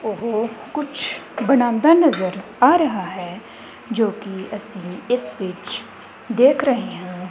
ਇਹ ਕੁੱਛ ਬੰਨਾਂਦਾ ਨਜ਼ਰ ਆ ਰਿਹਾ ਹੈ ਜੋਕਿ ਅੱਸੀ ਇਸ ਵਿੱਚ ਦੇਖ ਰਹੇ ਹਾਂ।